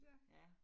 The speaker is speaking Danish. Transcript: Ja